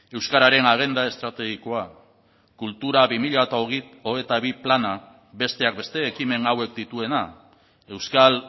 euskararen agenda estrategikoa kultura bi mila hogeita bi plana besteak beste ekimen hauek dituena euskal